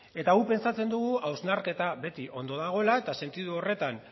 eta guk uste dugu hausnarketa beti ondo dagoela eta sentidu horretan